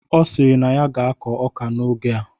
Ọ sịrị na ya ga-akọ ọka n'oge a